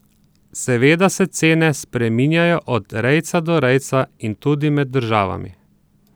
Seveda se cene spreminjajo od rejca do rejca in tudi med državami ...